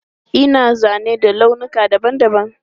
Ana zane da launuka dabam dabam.